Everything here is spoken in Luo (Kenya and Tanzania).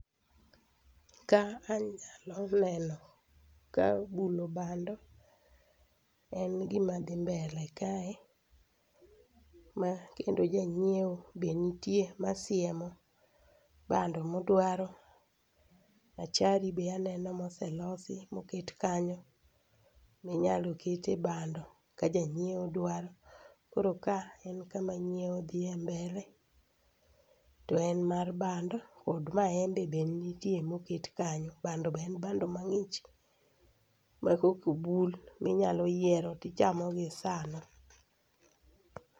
Ka anyalo neno ka bulo bando en gima dhi mbele kae ma kendo janyieo be nitie ma siemo bando modwaro achari be aneno moselosi moket kanyo minyalo kete bando ka janyieo dwaro, koro ka en kama nyieo dhi mbele to en mar bando kod maembe be nitie moket kanyo bando be en bando mang'ich ma kokobul minyalo yiero tichamo gi sano.